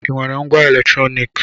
Ị nwere ngwá eletrọnịkị?